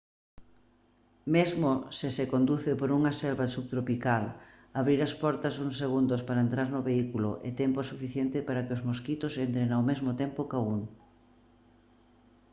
mesmo se se conduce por unha selva subtropical abrir as portas uns segundos para entrar no vehículo é tempo suficiente para que os mosquitos entren ao mesmo tempo ca un